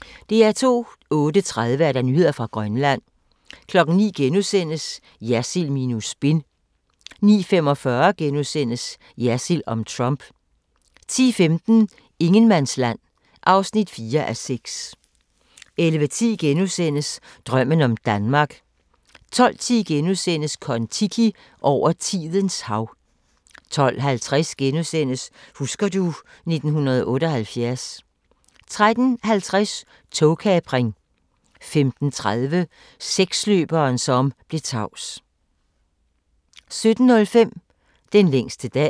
08:30: Nyheder fra Grønland 09:00: Jersild minus spin * 09:45: Jersild om Trump * 10:15: Ingenmandsland (4:6) 11:10: Drømmen om Danmark * 12:10: Kon-Tiki – over tidens hav * 12:50: Husker du ... 1978 * 13:50: Togkapring 15:30: Seksløberen som blev tavs 17:05: Den længste dag